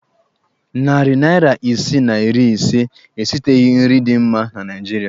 Narị naịra isi na iri ise esiteghi nri dị mma na Naịjirịa.